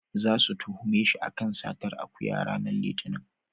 Zasu tuhume shi a kan satar akuya ranar Litinin.